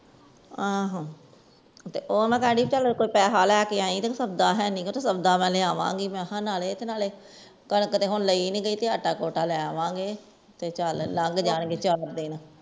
ਆਹੋ ਤੇ ਓਹਨੂੰ ਕਹਿ ਦੀ ਪੈਸੇ ਲੈ ਈ ਤੇ ਸੌਦਾ ਮੁਕਾ ਲੈ ਕ ਅਨਾ ਨਾਲੇ ਕਣਕ ਤਾ ਹੁਣ ਲਾਇ ਨੀ ਗਯੀ ਆਟਾ ਲੈ ਲਗੇ ਤੇ ਲੰਘ ਜਾਣਗੇ ਚਾਰ ਦਿਨ